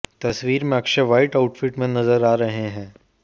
तस्वीर में Akshay white outfit में नजर आ रहे हैं